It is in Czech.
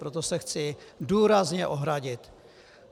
Proto se chci důrazně ohradit.